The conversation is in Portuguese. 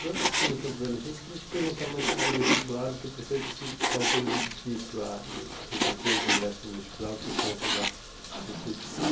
Agora que você comentou da adolescência, eu queria te perguntar mais sobre o vestibular, porque eu percebo que que é um período difícil a a tentativa de ingresso no vestibular por conta da epilepsia.